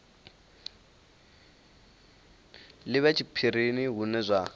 li vhe tshiphirini hune zwa